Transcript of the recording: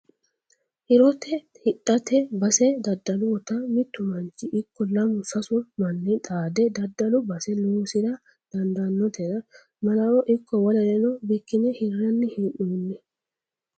Hirote hidhate base daddalutta mitu manchi ikko lamu sasu manni xaade daddalu base loosira dandanotera malawo ikko wolereno bikkine hiranni hee'nonni